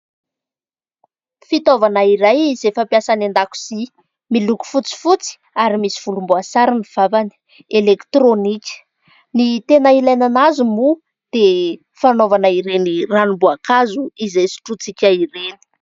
Fitaovana iray izay fampiasa any andakozia. Miloko fotsifotsy ary misy volombaoasary ny vavany. Elektronika. Ny tena ilàna azy moa dia fanaovana ireny ranomboakazo izay sotrointsika ireny.